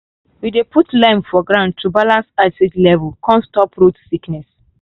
we dey put lime for ground to balance acid level come stop root sickness.